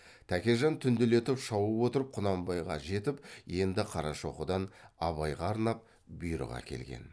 тәкежан түнделетіп шауып отырып құнанбайға жетіп енді қарашоқыдан абайға арнап бұйрық әкелген